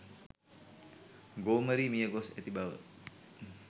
ගෝමරී මිය ගොස් ඇති බව